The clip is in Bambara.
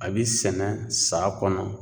A bi sɛnɛ sa kɔnɔ